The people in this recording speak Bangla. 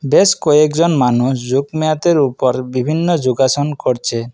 বেশ কয়েকজন মানুষ যোগ-ম্যাতের উপর বিভিন্ন যোগাসন করছে।